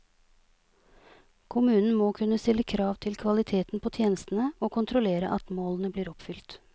Kommunen må kunne stille krav til kvaliteten på tjenestene og kontrollere at målene blir oppfylt.